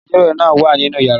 Agbẹjọ́rò náà wà nínú yàrá